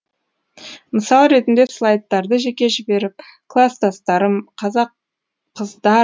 мысал ретінде слайдтарды жеке жіберіп класстастарым қазақ қыздар